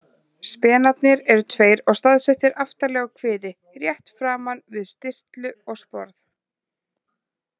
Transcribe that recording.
Spenarnir eru tveir og staðsettir aftarlega á kviði, rétt framan við stirtlu og sporð.